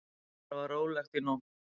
Þar var rólegt í nótt.